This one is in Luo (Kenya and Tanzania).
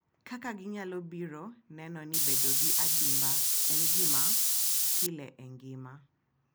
Kaka ginyalo biro neno ni bedo gi adimba en gima pile e ngima.